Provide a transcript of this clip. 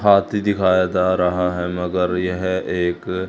हाथी दिखाया जा रहा है मगर यह एक--